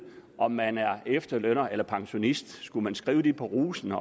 om man er efterlønner eller pensionist skulle man skrive det på rusen